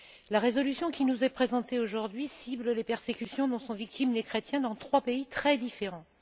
La résolution qui nous est présentée aujourd'hui cible les persécutions dont sont victimes les chrétiens dans trois pays très différents.